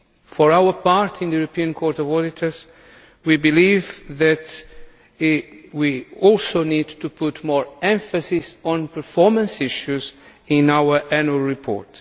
For our part, in the Court of Auditors we believe that we also need to put more emphasis on performance issues in our annual report.